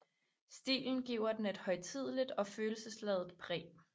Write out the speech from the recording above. Stilen giver den et højtideligt og følelsesladet præg